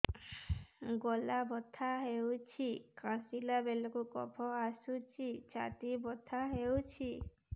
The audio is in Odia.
ଗଳା ବଥା ହେଊଛି କାଶିଲା ବେଳକୁ କଫ ଆସୁଛି ଛାତି ବଥା ହେଉଛି